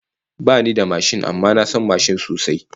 Bani da mashin amma na san mashin sosai